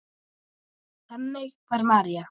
Þannig var María.